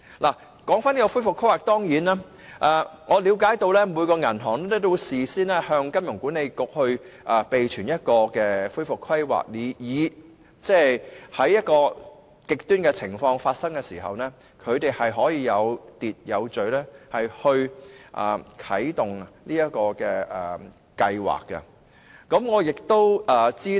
有關恢復規劃方面，據了解，每一間銀行均須事先向香港金融管理局備存一個恢復規劃方案，以便在出現極端情況時，可以有秩序地啟動有關計劃。